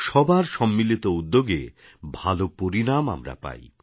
সবার সম্মিলিত উদ্যোগে ভাল পরিণাম আমরা পাই